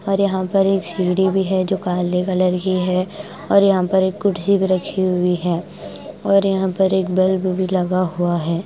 और यहाँ पर एक सीढ़ी भी है जो काले कलर की है और यहाँ पर एक कुर्सी भी रखी हुई है और यहाँ पर एक बल्ब भी लगा हुआ है।